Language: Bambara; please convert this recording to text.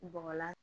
Bɔgɔla